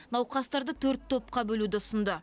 науқастарды төрт топқа бөлуді ұсынды